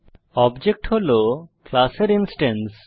object হল ক্লাসের instance